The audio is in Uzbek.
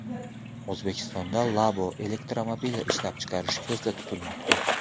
O‘zbekistonda Labo elektromobili ishlab chiqarish ko‘zda tutilmoqda.